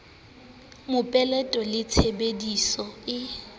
mopeleto le tshebe diso e